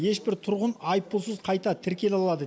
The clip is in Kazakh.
ешбір тұрғын айыппұлсыз қайта тіркеле алады